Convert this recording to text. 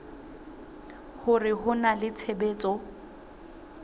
hore ho na le tshebetso